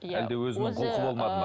иә әлде өзінің құлқы болмады ма